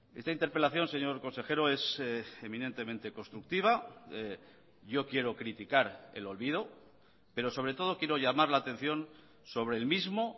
esta interpelación señor consejero es eminentemente constructiva yo quiero criticar el olvido pero sobre todo quiero llamar la atención sobre el mismo